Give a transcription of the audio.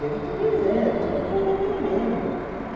Devo te dizer, tudo com muito medo.